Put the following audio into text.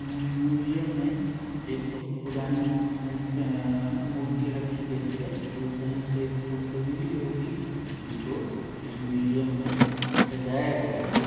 मियू museum में एक बहुत पुरानी मि अ अ मूर्ति रखी गई है जो कहीं से खोदकर मिली होगी जिसको इस म्यूजियम में सजाया गया है।